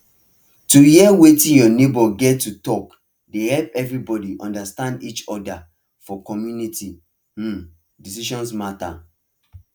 to hear wetin your neighbours get to talk dey help everybody understand each other for community um decision matter